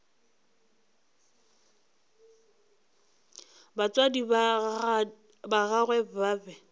batswadi ba gagwe ba be